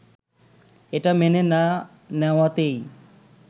এটা মেনে না নেওয়াতেই